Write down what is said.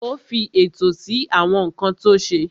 Ó fi ètò sí àwọn nǹkan tó ṣe.